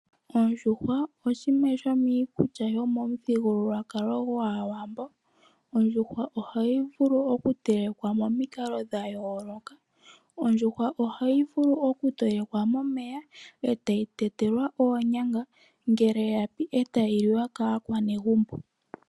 Oondjuhwa oshimwe shomiikulya yopamuthigululwakalo gwAawambo . Ondjuhwa ohayi vulu okutelekwa momikalo dhayoolokathana . Ondjuhwa ohayi telekwa momeya etayi tetelwa oonyama. Ngele yapi etayi liwa kaakwanezimo.